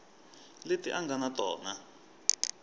leti a nga na tona